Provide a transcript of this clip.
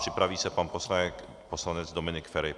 Připraví se pan poslanec Dominik Feri.